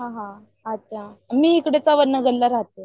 अच्छा मी इकडे चव्हाण नगरला राहते.